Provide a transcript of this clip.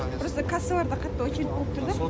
просто кассаларда қатты очередь болып тұр да